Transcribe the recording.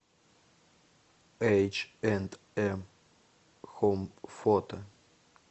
эйч энд эм хоум фото